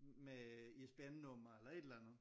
med ISBN nummer eller et eller andet